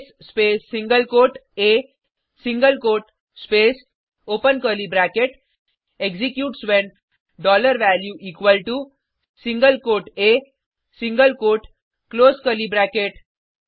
case space single quote a single quote space open curly bracket executes when dollar value equal to single quote a single quote close curly bracket